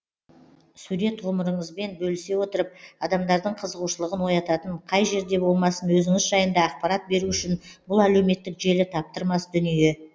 сурет ғұмырыңызбен бөлісе отырып адамдардың қызығушылығын оятатын қай жерде болмасын өзіңіз жайында ақпарат беру үшін бұл әлеуметтік желі таптырмас дүние